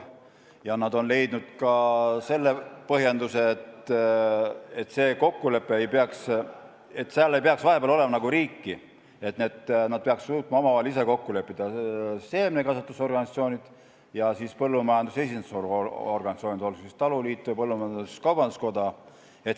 Ja nad on leidnud ka selle põhjenduse, et selle kokkuleppe puhul ei peaks olema riiki vahepeal, st nad peaksid suutma ise omavahel kokku leppida – seemnekasvatusorganisatsioonid ja siis põllumajanduse esindusorganisatsioonid, olgu taluliit või põllumajandus-kaubanduskoda.